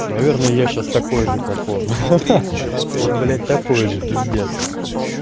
наверное я сейчас такой же как он ха-ха вот блять такой же пиздец